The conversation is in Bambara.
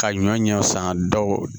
Ka ɲɔ ɲɛ san dɔw